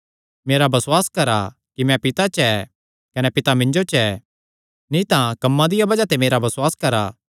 मेरा बसुआस करा कि मैं पिता च ऐ कने पिता मिन्जो च ऐ नीं तां कम्मां दिया बज़ाह ते मेरा बसुआस करा